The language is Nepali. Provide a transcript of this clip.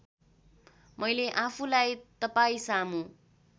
मैले आफूलाई तपाईँसामु